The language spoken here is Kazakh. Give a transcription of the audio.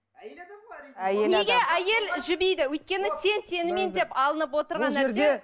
әйел адам ғой әрине неге әйел жібиді өйткені тең теңімен деп алынып отырған нәрсе